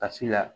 Ka si la